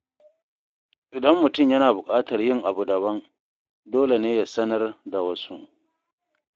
Idan mutum yana buƙatar yin abu daban, dole ne ya sanar da wasu.